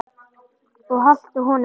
Og haltu honum Jón.